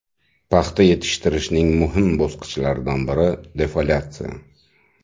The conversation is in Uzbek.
Paxta yetishtirishning muhim bosqichlaridan biri defoliatsiya.